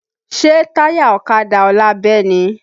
Ṣé táyà ọ̀kadà ọlá bẹ́ ni?